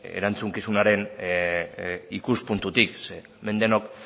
erantzukizunaren ikuspuntutik zeren hemen denok